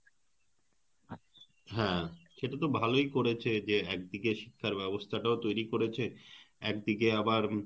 হ্যাঁ সেটা তো ভালই করেছে যে একদিকে শিক্ষার ব্যবস্থা টাও তৈরি করেছে একদিকে আবার,